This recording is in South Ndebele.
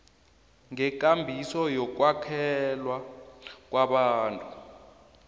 ngekambiso yokwakhelwa kwabantu